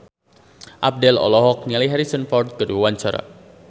Abdel olohok ningali Harrison Ford keur diwawancara